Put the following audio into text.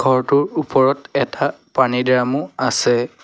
ঘৰটোৰ ওপৰত এটা পানীৰ দ্ৰামো আছে।